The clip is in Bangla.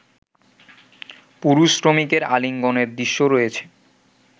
পুরুষ শ্রমিকের আলিঙ্গনের দৃশ্য রয়েছে